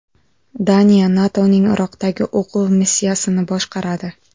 Daniya NATOning Iroqdagi o‘quv missiyasini boshqaradi.